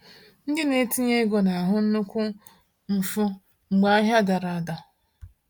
Ndị na-etinye ego na-ahụ nnukwu mfu mgbe ahịa dara ada.